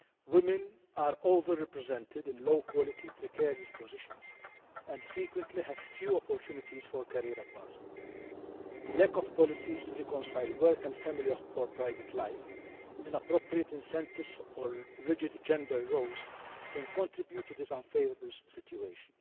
Women are over represented in low quality, precarious positions and frequently have few opportunities for career advancement. Lack of policies to reconcile work and family or private life, inappropriate incentives or rigid gender roles can contribute to this unfavourable situation.